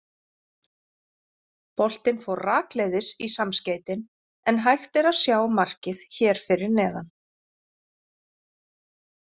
Boltinn fór rakleiðis í samskeytin en hægt er að sjá markið hér fyrir neðan.